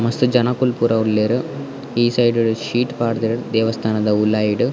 ಮಸ್ತ್ ಜನೊಕುಲು ಪೂರ ಉಲ್ಲೆರ್ ಈ ಸೈಡ್ಡ್ ಶೀಟ್ ಪಾಡ್ದೆರ್ ದೇವಸ್ಥಾನದ ಉಲಾಯಿಡ್.